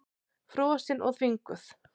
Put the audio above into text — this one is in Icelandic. Frosin og þvinguð.